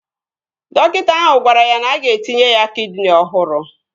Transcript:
Dọkịta ahụ gwara ya na-aga etinye ya kidini ọhụrụ